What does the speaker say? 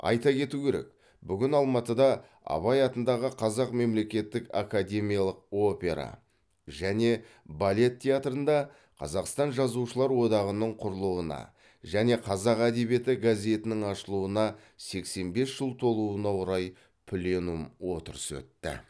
айта кету керек бүгін алматыда абай атындағы қазақ мемлекеттік академиялық опера және балет театрында қазақстан жазушылар одағының құрылуына және қазақ әдебиеті газетінің ашылуына сексен бес жыл толуына орай пленум отырысы өтті